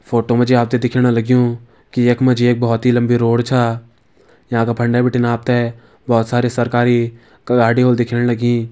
Photo मा जी आपथे दिख्यण लग्यूं की यखमा जी एक भौत ही लम्बी रोड छा याँ का फंडै बटिन आपथे भौत सारी सरकारी क गाडी होल दिखेण लगीं।